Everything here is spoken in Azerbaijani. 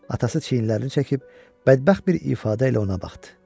Atası çiyinlərini çəkib bədbəxt bir ifadə ilə ona baxdı.